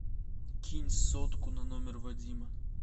кинь сотку на номер вадима